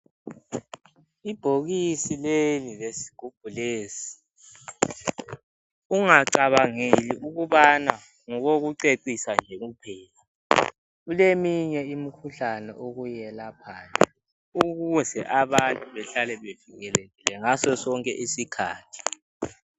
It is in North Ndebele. Ibhokisi leli lesigubhu lesi ungacabangeli ukubana ngokokucecisa nje kuphela .Kuleminye imikhuhlane okuyelaphayo ukuze abantu behlale bevikelekile ngaso sonke isikhathi .